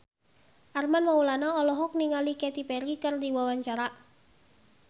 Armand Maulana olohok ningali Katy Perry keur diwawancara